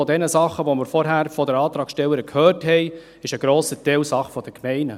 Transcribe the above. Von den Dingen, die wir vorher von der Antragstellerin gehört haben, ist ein grosser Teil Sache der Gemeinden.